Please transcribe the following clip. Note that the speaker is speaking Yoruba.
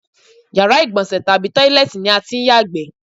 Yàrá ìgbò̩nsè̩ tàbí tóílé̩è̩tì ni a tí ń yàgbé̩.